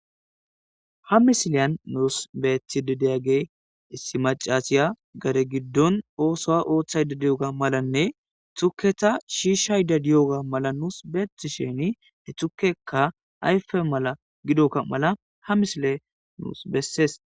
ha misileyan nuus betidideyagey issi macasiya gare giddon oosoa ooththay dadiyoga malanne tukketa shiishay dadiyoga mala nuus beeti sheni he thukekka ayfe mala gidokka mala ha misile nuus bessees